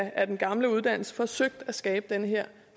af den gamle uddannelse forsøgt at skabe den her